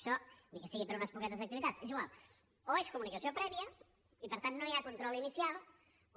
això ni que sigui per a unes poquetes activitats és igual o és comunicació prèvia i per tant no hi ha control inicial